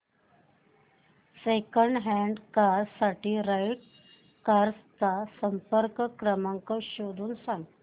second hand car साठी right cars चा संपर्क क्रमांक शोधून सांग